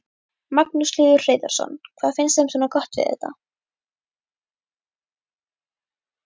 Magnús Hlynur Hreiðarsson: Hvað finnst þeim svona gott við þetta?